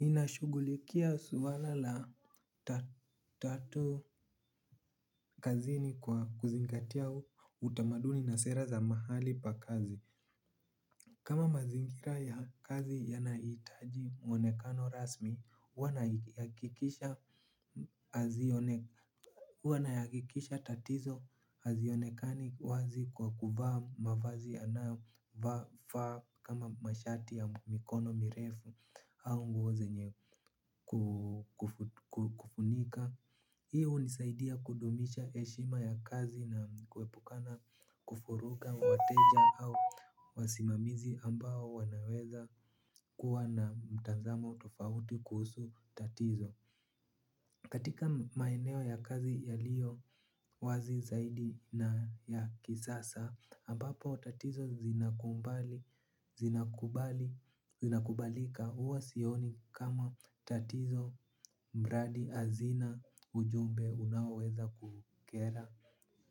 Ninashugulikia swala la tatu kazini kwa kuzingatia utamaduni na sera za mahali pa kazi. Kama mazingira ya kazi yanaitaji mwonekano rasmi, huwa na yakikisha tatizo hazionekani wazi kwa kuvaa mavazi yanayofaa kama mashati ya mkumikono mirefu au nguo zenye kufunika. Hi hunisaidia kudumisha eshima ya kazi na kuepukana kufuruga wateja au wasimamizi ambao wanaweza kuwa na mtnzamo tofauti kuhusu tatizo. Katika maeneo ya kazi yaliyo wazi zaidi na ya kisasa, ambapo tatizo zinakubalika uwa sioni kama tatizo mradi azina ujumbe unao weza kukera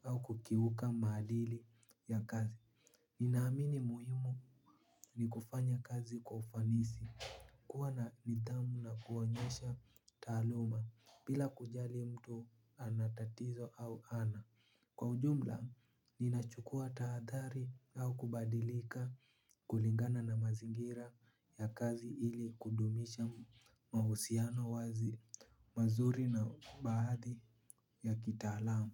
au kukiuka maadili ya kazi. Ninaamini muhimu ni kufanya kazi kwa ufanisi. Kuwa na nidhamu na kuonyesha taaluma. Pila kujali mtu anatatizo au ana kwa ujumla, ninachukua taadhari au kubadilika. Kulingana na mazingira ya kazi ili kudumisha mahusiano wazi mazuri na baadhi ya kitaalamu.